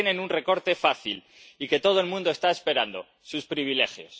Ahí tienen un recorte fácil y que todo el mundo está esperando sus privilegios.